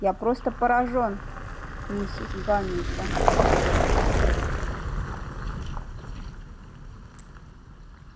я просто поражён миссис гамильтон